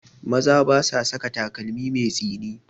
Maza ba sa saka takalmi mai tsini